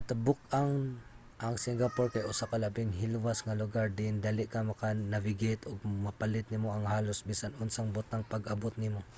sa kinatibuk-an ang singapore kay usa ka labing hilwas nga lugar diin dali ka maka-navigate ug mapalit nimo ang halos bisan unsang butang pag-abot nimo